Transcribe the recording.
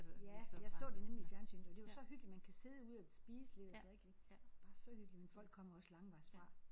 Ja jeg så det nemlig i fjernsynet og det var så hyggeligt man kan sidde ude og spise lidt og drikke lidt. Det var bare så hyggeligt men folk kommer også langvejs fra